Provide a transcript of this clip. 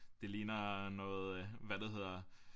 Det ligner noget øh hvad det hedder